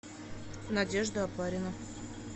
надежда опарина